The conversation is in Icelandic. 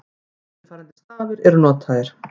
Eftirfarandi stafir eru notaðir: